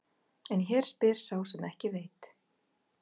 En hér spyr sá sem ekki veit.